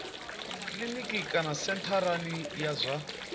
kiliniki kana sentharani ya zwa